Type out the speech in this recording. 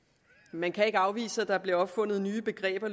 man kan ikke afvise at der løbende bliver opfundet nye begreber